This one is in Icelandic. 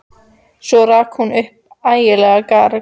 Svo rak hún upp ægilegt garg.